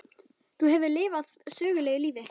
Þú hefur þá lifað sögulegu lífi?